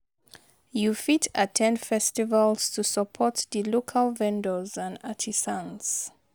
You fit at ten d festivals to support di local vendors and artisans.